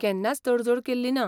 केन्नाच तडजोड केल्ली ना.